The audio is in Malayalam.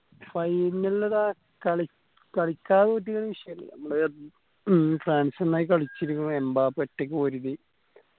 final ന് അതാ കളി കളിക്കാതെ തോറ്റക്കിണെ ഒരു വിഷ്യേല്ല നമ്മളെ മ്മ് ഫ്രാൻസ് നന്നായി കളിച്ചിരിക്കുണു എംബപ്പേ ഒറ്റക്ക് പൊരുതി